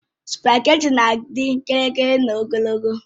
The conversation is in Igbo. Spageti na-adị gịrịgịrị na ogologo